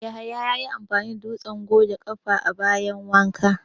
Yahaya ya yi amfani da dutsen goge ƙafa a bayin wanka